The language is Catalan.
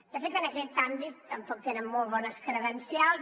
de fet en aquest àmbit tampoc tenen molt bones credencials